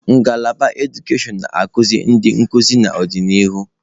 Ngalaba edukashon na-azụ ndị nkuzi n'ọdịnihu.